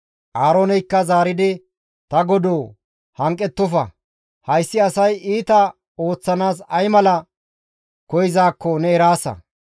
Aarooneykka zaaridi, «Ta godoo, hanqettofa! Hayssi asay iita ooththanaas ay mala koyzaakko ne eraasa.